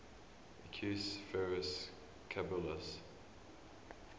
equus ferus caballus